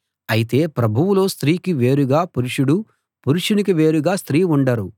అయితే ప్రభువులో స్త్రీకి వేరుగా పురుషుడు పురుషునికి వేరుగా స్త్రీ ఉండరు